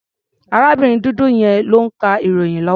Arábìnrin dúdú yẹn ló ń ka ìròyìn lọ́wọ́.